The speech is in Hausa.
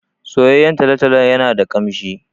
Soyayyen talo-talo yana da ƙamshi.